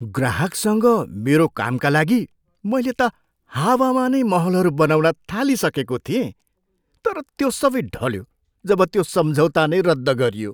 ग्राहकसँग मेरो कामका लागि मैले त हावामा नै महलहरू बनाउन थालिसकेको थिएँ तर त्यो सबै ढल्यो जब त्यो सम्झौता नै रद्द गरियो।